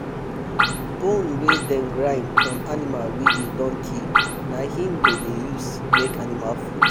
bone wey dem grind from animal wey dey don kill na him dem dey use make animal food